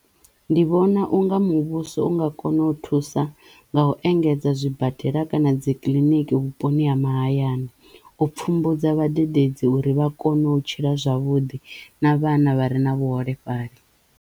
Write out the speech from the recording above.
Ndi vhona unga muvhuso u nga kono u thusa nga u engedza zwibadela kana dzi kiḽiniki vhuponi ha mahayani u pfhumbudza vhadededzi uri vha kono u tshila zwavhuḓi na vhana vha re na vhuholefhali.